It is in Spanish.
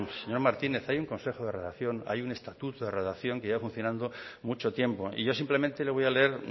señor martínez hay un consejo de redacción hay un estatuto de redacción que lleva funcionando mucho tiempo y yo simplemente le voy a leer